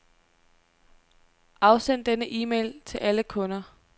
Afsend denne e-mail til alle kunder.